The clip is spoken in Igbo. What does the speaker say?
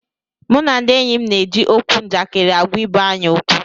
Mụ na ndị enyi m na-eji okwu njakịrị agwa ibe anyị okwu